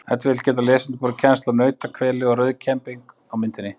ef til vill geta lesendur borið kennsl á nauthveli og rauðkembing á myndinni